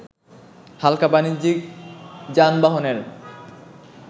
হালকা বানিজ্যিক যানবাহনের